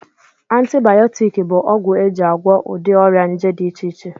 Antibayọtiki bụ ọgwụ eji agwọ ụdị ọrịa nje dị iche iche